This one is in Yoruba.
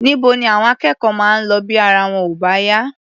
Níbo ni àwọn akẹ́kọ̀ọ́ máa ń lọ bí ara wọn ò bá yá?